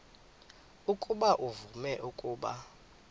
ukuba uvume ukuba